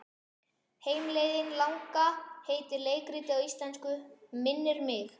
Heimleiðin langa heitir leikritið á íslensku, minnir mig.